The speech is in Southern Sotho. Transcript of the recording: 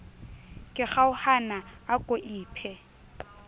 ke kgaohana a ko iphe